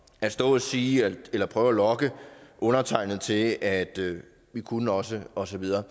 at stå og sige eller prøve at lokke undertegnede til at vi kunne også og så videre